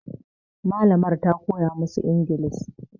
Malamar ta koya masu ingilis